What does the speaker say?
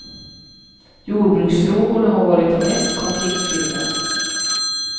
Jordbruksfrågorna har varit de mest konfliktfyllda.